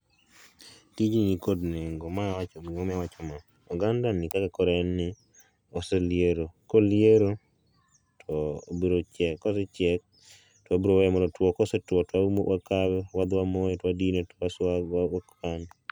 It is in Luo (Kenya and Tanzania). tijni nikod nengo gimomiyo awacho ma ogandani kaka koro en nii oseliero koliero to obirochiek kosechiek to wabiroweye mondo otuo kosetwo to wakawe to wdhi wamoye to wadine to wakane